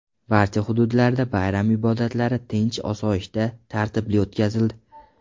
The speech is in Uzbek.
Barcha hududlarda bayram ibodatlari tinch-osoyishta, tartibli o‘tkazildi.